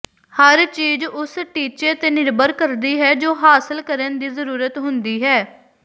ਹਰ ਚੀਜ਼ ਉਸ ਟੀਚੇ ਤੇ ਨਿਰਭਰ ਕਰਦੀ ਹੈ ਜੋ ਹਾਸਲ ਕਰਨ ਦੀ ਜ਼ਰੂਰਤ ਹੁੰਦੀ ਹੈ